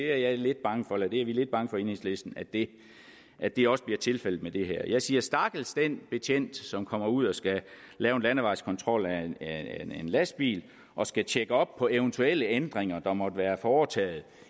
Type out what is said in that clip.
er lidt bange for i enhedslisten at det at det også bliver tilfældet med det her jeg siger stakkels den betjent som kommer ud og skal lave en landevejskontrol af en lastbil og skal tjekke op på eventuelle ændringer der måtte være foretaget